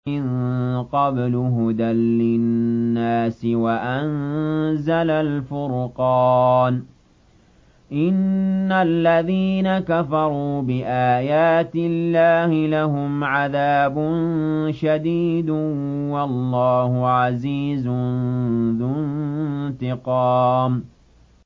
مِن قَبْلُ هُدًى لِّلنَّاسِ وَأَنزَلَ الْفُرْقَانَ ۗ إِنَّ الَّذِينَ كَفَرُوا بِآيَاتِ اللَّهِ لَهُمْ عَذَابٌ شَدِيدٌ ۗ وَاللَّهُ عَزِيزٌ ذُو انتِقَامٍ